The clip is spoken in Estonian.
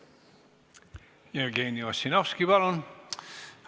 Jevgeni Ossinovski, palun!